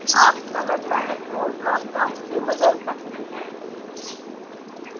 आप colour palette को dropdown से बदल सकते हैं